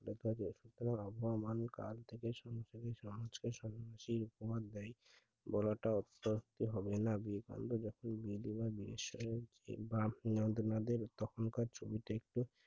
এই আবহামান কাল থেকে সংসারে প্রমান দেয় বলাটা আচ্ছা হবে না আপনাদের তখন কার ছবিতে এ টা একটি সুখবর